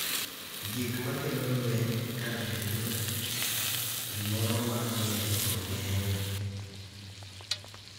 Gik ma kelo lweny, kar bedo gimoro ma onego ogeng’,